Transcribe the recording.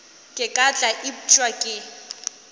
ka ke tla upša ke